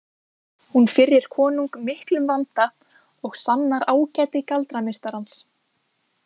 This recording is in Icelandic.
Hún firrir konung miklum vanda og sannar ágæti galdrameistarans.